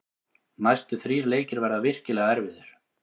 Næstu þrír leikir verða virkilega erfiðir.